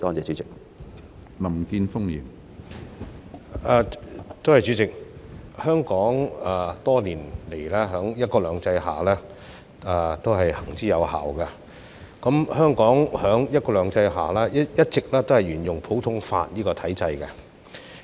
主席，多年來，"一國兩制"在香港都是行之有效的，而香港在"一國兩制"下一直都是沿用普通法的體制。